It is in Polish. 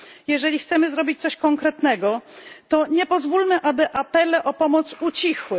Jeżeli chcemy zrobić coś konkretnego, to nie pozwólmy, aby apele o pomoc ucichły.